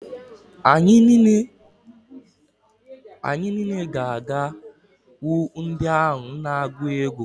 Anyị niile ga-aga hụ ndị ahụ na-agụ egwu.